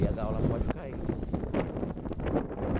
E a gaiola pode cair.